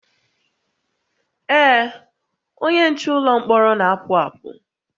Ee, onye nche ụlọ mkpọrọ na-apụ apụ